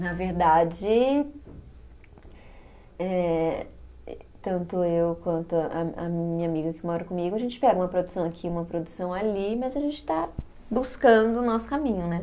Na verdade, eh tanto eu quanto a a minha amiga que mora comigo, a gente pega uma produção aqui, uma produção ali, mas a gente está buscando o nosso caminho, né?